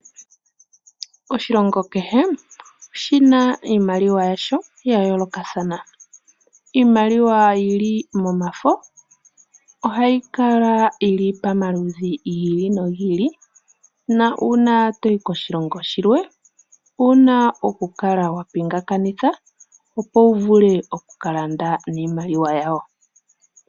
Oshilongo kehe oshi na iimaliwa yasho ya yoolokathana. Iimaliwa yi li momafo ohayi kala yi li pamaludhi gi ili nogi ili nuuna to yi koshilongo shilwe owu na okukala wa pingakanitha, opo wu vule oku ka landa niimaliwa yawo.